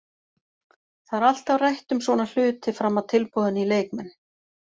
Það er alltaf rætt um svona hluti fram að tilboðinu í leikmenn.